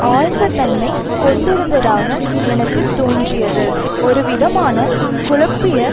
ஆழ்ந்த தன்மை கொண்டிருந்ததாக எனக்கு தோன்றியது ஒரு விதமான குழப்பிய